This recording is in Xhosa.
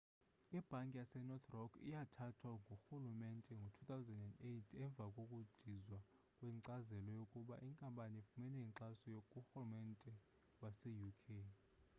ibhanki yasenorth rock yathathwa ngurhulumente ngo-2008 emva kokudizwa kwenkcazelo yokuba inkampani ifumene inkxaso kurhulumente wase uk